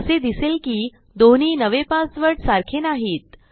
असे दिसेल की दोन्ही नवे पासवर्ड सारखे नाहीत